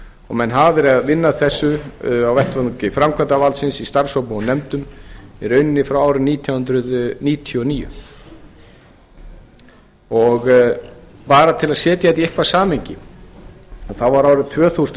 menn hafa verið að vinna að þessu á vettvangi framkvæmdarvaldsins í starfshópum og nefndum í rauninni frá árinu nítján hundruð níutíu og níu bara til að setja þetta í eitthvað samhengi að árið tvö þúsund